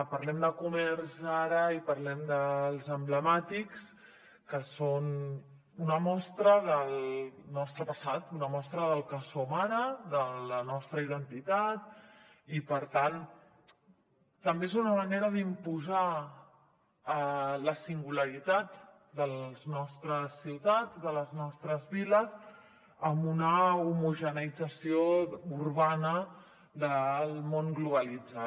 parlem de comerç ara i parlem dels emblemàtics que són una mostra del nostre passat una mostra del que som ara de la nostra identitat i per tant també és una manera d’imposar la singularitat de les nostres ciutats de les nostres viles en una homogeneïtzació urbana del món globalitzat